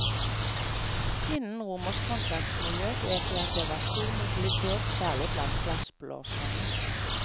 Innen romersk håndverksmiljø vet vi at det var stor mobilitet, særlig blant glassblåserne.